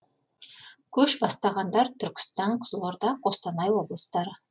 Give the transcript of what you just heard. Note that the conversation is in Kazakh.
көш бастағандар түркістан қызылорда қостанай облыстары